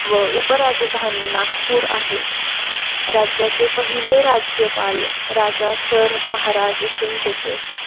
व उपराजधानी नागपूर आहे, राज्याचे पहिले राज्यपाल राजा सर महाराज सिंघ होते.